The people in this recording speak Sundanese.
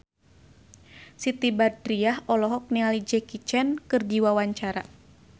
Siti Badriah olohok ningali Jackie Chan keur diwawancara